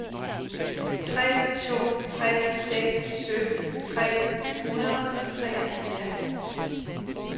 tre to tre seks sytten tre hundrede og treoghalvfjerds